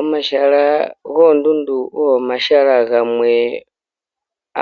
Omahala goondundu ogo omahala gamwe